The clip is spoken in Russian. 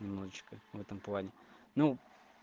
внучка в этом плане ну